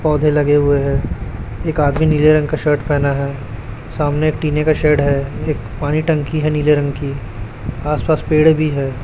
पौधे लगे हुए हैं एक आदमी नीले रंग का शर्ट पहना है सामने एक टिने का शेड है एक पानी टंकी है नीले रंग की आस पास पेड़ भी है।